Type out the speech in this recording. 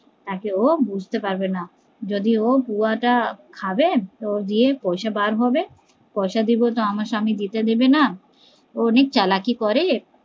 নাকি ও বুঝতে পারবে না, যদি ও পুয়া তা খাবে ওর দিয়ে পয়সা বার হবে, পয়সা দিবো তো আমার স্বামী যেতে দেবে না ও অনেক চালাকি করে